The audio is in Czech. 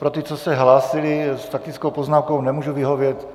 Pro ty, co se hlásili s faktickou poznámkou, nemůžu vyhovět.